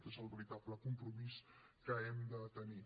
aquest és el veritable compromís que hem de tenir